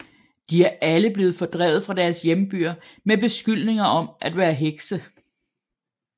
De er alle blevet fordrevet fra deres hjembyer med beskyldninger om at være hekse